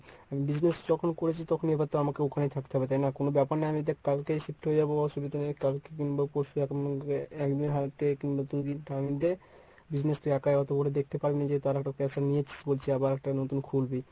business যখন করেছি তখন এবার তো আমাকে ওখানে থাকতে হবে তাই না কোনো ব্যপার না আমি দেখ কালকেই shift হয়ে যাব অসুবিধা নেই কালকে কিংবা পরশু এরমধ্যে একদিন হাতে থেকে কিংবা দুইদিন তার মধ্যে business তুই একাই অতবড় দেখতে পারবি না যেহেতু আরো একটা caser নিয়েছিস বলছি আবার একটা নতুন খুলবি